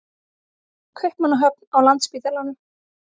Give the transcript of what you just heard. Kaupmannahöfn, á Landspítalanum.